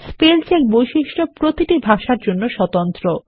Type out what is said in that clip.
spell check বৈশিষ্ট্য প্রতিটি ভাষার জন্য স্বতন্ত্র